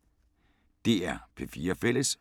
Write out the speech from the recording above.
DR P4 Fælles